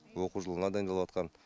оқу жылына дайындалыватқан